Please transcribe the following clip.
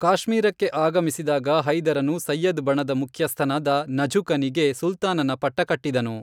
ಕಾಶ್ಮೀರಕ್ಕೆ ಆಗಮಿಸಿದಾಗ, ಹೈದರನು ಸಯ್ಯದ್ ಬಣದ ಮುಖ್ಯಸ್ಥನಾದ ನಝುಕನಿಗೆ ಸುಲ್ತಾನನ ಪಟ್ಟಕಟ್ಟಿದನು.